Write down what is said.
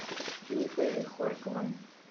михой хорьковым